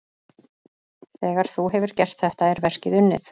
Þegar þú hefur gert þetta er verkið unnið.